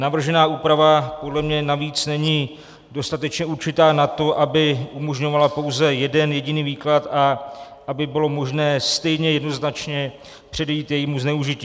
Navržená úprava podle mě navíc není dostatečně určitá na to, aby umožňovala pouze jeden jediný výklad a aby bylo možné stejně jednoznačně předejít jejímu zneužití.